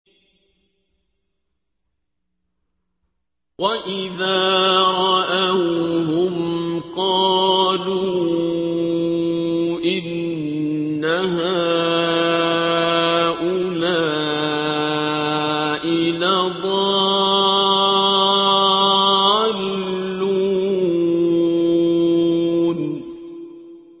وَإِذَا رَأَوْهُمْ قَالُوا إِنَّ هَٰؤُلَاءِ لَضَالُّونَ